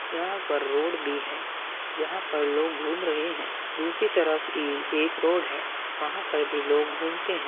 यहाँ पर रोड भी है। यहाँ पर लोग घूम रहे हैं दूसरी तरफ ए एक रोड है वहाँ पर भी लोग घूमते हैं।